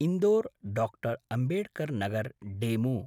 Indore Dr. Ambedkar Nagar DEMU